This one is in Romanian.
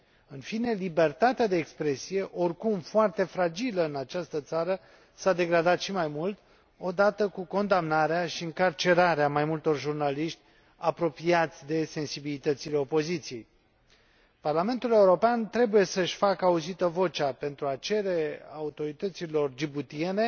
În fine, libertatea de expresie, oricum foarte fragilă în această țară, s a degradat și mai mult, odată cu condamnarea și încarcerarea mai multor jurnaliști, apropiați de sensibilitățile opoziției. Parlamentul European trebuie să își facă auzită vocea pentru a cere autorităților djiboutiene